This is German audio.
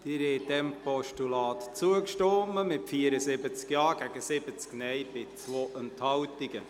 Sie haben diesem Postulat zugestimmt, mit 74 Ja- gegen 70 Nein-Stimmen bei 2 Enthaltungen.